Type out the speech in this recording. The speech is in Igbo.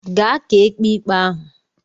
Gaa ka ekpe ikpe ahụ!